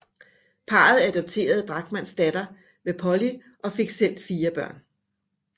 Parret adopterede Drachmanns datter med Polly og fik selv fire børn